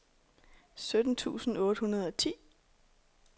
sytten tusind otte hundrede og ti